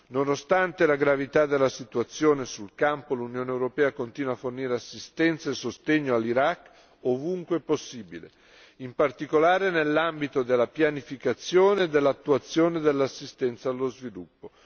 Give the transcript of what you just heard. Nonostante la gravità della situazione sul campo, l'Unione europea continua a fornire assistenza e sostegno all'Iraq ovunque possibile, in particolare nell'ambito della pianificazione e dell'attuazione dell'assistenza allo sviluppo.